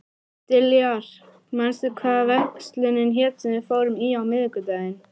Diljar, manstu hvað verslunin hét sem við fórum í á miðvikudaginn?